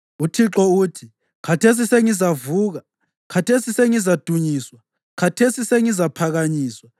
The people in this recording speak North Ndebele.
UThixo uthi, “Khathesi sengizavuka, khathesi sengizadunyiswa, khathesi sengizaphakanyiswa.